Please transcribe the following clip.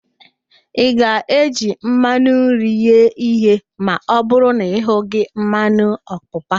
Ị ga-eji mmanụ nri ghee ihe ma ọbụrụ na ị hughị mmanụ ọpapa?